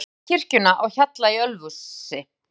Myndin sýnir kirkjuna á Hjalla í Ölfusi.